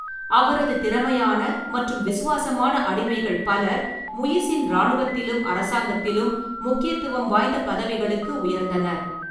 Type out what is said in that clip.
அவரது திறமையான மற்றும் விசுவாசமான அடிமைகள் பலர் முயிஸின் இராணுவத்திலும் அரசாங்கத்திலும் முக்கியத்துவம் வாய்ந்த பதவிகளுக்கு உயர்ந்தனர்.